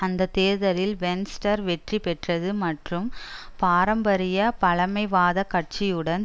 அந்த தேர்தலில் வென்ஸ்டர் வெற்றி பெற்றது மற்றும் பாரம்பரிய பழமைவாத கட்சியுடன்